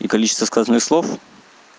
ну количество сказанных слов